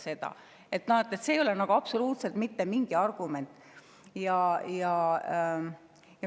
See ei ole absoluutselt mitte mingi argument.